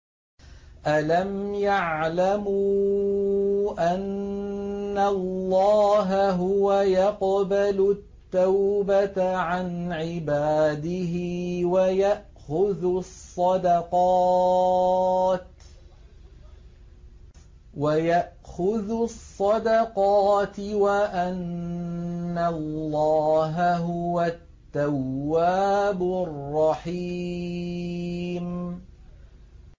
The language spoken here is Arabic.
أَلَمْ يَعْلَمُوا أَنَّ اللَّهَ هُوَ يَقْبَلُ التَّوْبَةَ عَنْ عِبَادِهِ وَيَأْخُذُ الصَّدَقَاتِ وَأَنَّ اللَّهَ هُوَ التَّوَّابُ الرَّحِيمُ